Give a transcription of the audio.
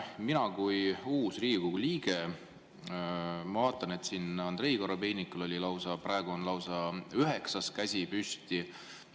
Mina kui uus Riigikogu liige vaatan, et Andrei Korobeinikul on lausa üheksandat korda käsi püsti.